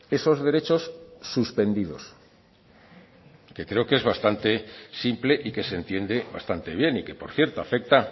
esos derechos suspendidos que creo que es bastante simple y que se entiende bastante bien y que por cierto afecta